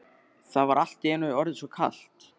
Það var allt í einu orðið svo kalt.